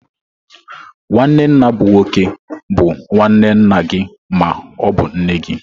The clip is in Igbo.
Nwanne nna bụ nwoke bu nwanne nna gị ma ọ bụ nne gị.